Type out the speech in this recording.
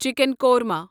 chicken korma